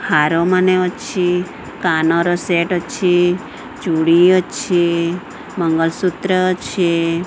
ହାରମାନେ ଅଛି କାନର ସେଟ୍ ଅଛି ଚୁଡ଼ି ଅଛି ମଙ୍ଗଳସୂତ୍ର ଅଛି।